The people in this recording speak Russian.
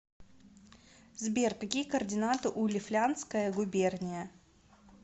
сбер какие координаты у лифляндская губерния